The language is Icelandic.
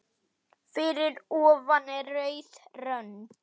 Fyrir ofan er rauð rönd.